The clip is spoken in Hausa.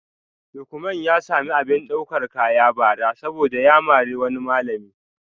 Lukman ya samu abin daukar kaya bara saboda ya mari wani malam